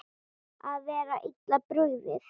Að vera illa brugðið